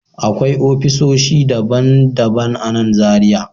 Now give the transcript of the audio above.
Akwai ofisoshi daban-daban a nan Zariya